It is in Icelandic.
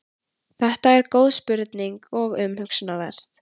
þetta er góð spurning og umhugsunarverð